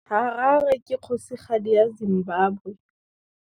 Harare ke kgosigadi ya Zimbabwe.